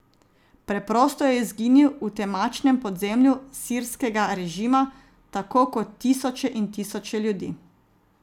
Preprosto je izginil v temačnem podzemlju sirskega režima, tako kot tisoče in tisoče ljudi.